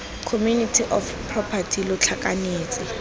community of property lo tlhakanetse